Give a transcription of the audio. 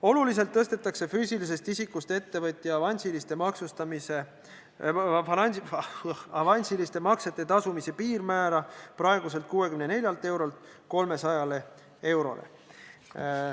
Oluliselt tõstetakse füüsilisest isikust ettevõtja avansiliste maksete tasumise piirmäära, praeguselt 64 eurolt 300 eurole.